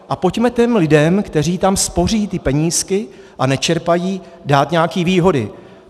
A pojďme těm lidem, kteří tam spoří ty penízky a nečerpají, dát nějaké výhody.